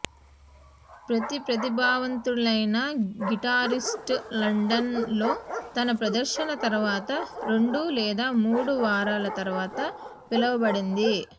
ప్రతి ప్రతిభావంతులైన guitarist London లో తన ప్రదర్శన తరువాత రెండు లేదా మూడు వారాల తర్వాత పిలవబడింది